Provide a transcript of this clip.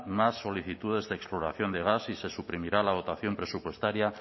más solicitudes de exploración de gas y se suprimirá la dotación presupuestaria